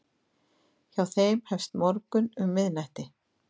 Hjá þeim hefst morgunn um miðnætti.